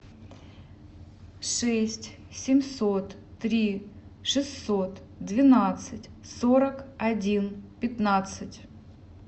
шесть семьсот три шестьсот двенадцать сорок один пятнадцать